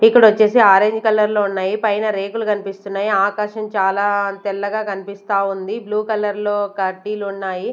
ఇక్కడొచ్చేసి orange కలర్లో ఉన్నాయి పైన రేకులు కన్పిస్తున్నాయి ఆకాశం చాలా తెల్లగా కన్పిస్తా ఉంది బ్లూ కలర్లో కడ్డీలున్నాయి.